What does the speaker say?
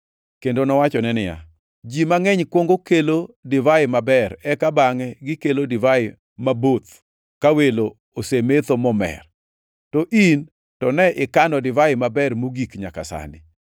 kendo nowachone niya, “Ji mangʼeny kuongo kelo divai maber eka bangʼe gikelo divai maboth ka welo osemetho momer to in to ne ikano divai maber mogik nyaka sani.”